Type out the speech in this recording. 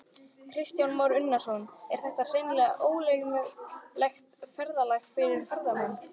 Kristján Már Unnarsson: Er þetta hreinlega ógleymanlegt ferðalag fyrir ferðamennina?